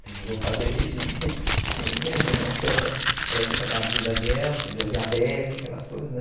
Precisou fazer regime, numa certa época da vida dela, deu diabetes, aquelas coisas, né?